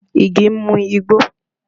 Ige ń mú igbó